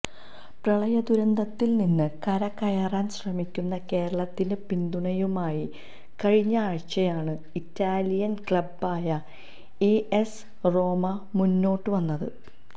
പ്രളയദുരന്തത്തിൽ നിന്ന് കരകയറാൻ ശ്രമിക്കുന്ന കേരളത്തിന് പിന്തുണയുമായി കഴിഞ്ഞയാഴ്ചയാണ് ഇറ്റാലിയൻ ക്ലബ്ബായ എ എസ് റോമ മുന്നോട്ട് വന്നത്